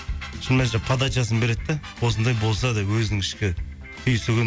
подачасын береді да осындай болса деп өзінің ішкі түйсігін